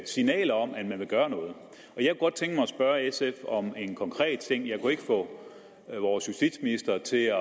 signaler om at man vil gøre noget at spørge sf om en konkret ting jeg kunne ikke få vores justitsminister til at